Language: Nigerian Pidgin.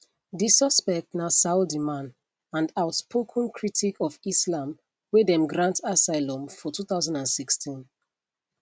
di suspect na saudi man and outspoken critic of islam wey dem grant asylum for 2016